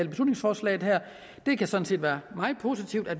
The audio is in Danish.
beslutningsforslaget her det kan sådan set være meget positivt at